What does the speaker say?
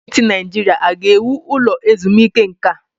Gọọmenti Naijiria a ga-ewu ụlọ ezumike nka?